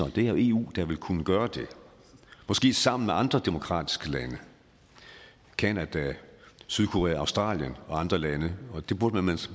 det vil eu kunne gøre måske sammen med andre demokratiske lande canada sydkorea australien og andre lande og det burde man